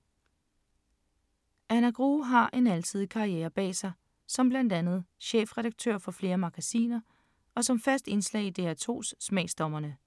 Anna Grue har en alsidig karriere bag sig som blandt andet chefredaktør for flere magasiner og som fast indslag i DR2’s Smagsdommerne.